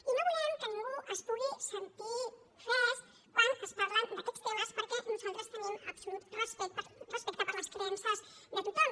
i no volem que ningú es pugui sentir ofès quan es parla d’aquests temes perquè nosaltres tenim absolut respecte per les creences de tothom